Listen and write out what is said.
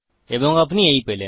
এবং আপনি এই পেলেন